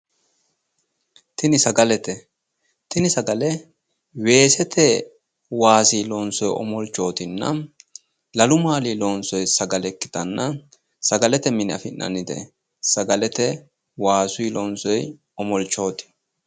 Tini sagalete, tini sagale weesete waasii loonsoyi omolchootinna, lalu maalinni loonsoyi sagale ikkitanna sagalete mine afi'nannite. Sagalete waasuyi loonsoyi omolchooti.